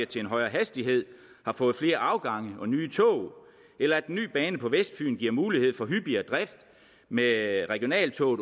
til en højere hastighed har fået flere afgange og nye tog eller at den nye bane på vestfyn giver mulighed for hyppigere drift med regionaltog